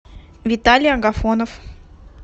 виталий агафонов